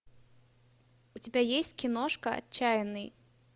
у тебя есть киношка отчаянный